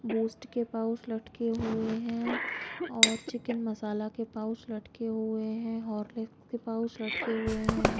Boost के pouch लटके हुए है और चिकन मसाला के पाउच लटके हुए है होर्लिस के पाउच लटके हुए है ।